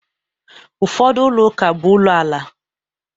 Ụfọdụ ụlọ ụka bụ ụlọ ala.